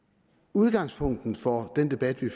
udgangspunktet for den debat vi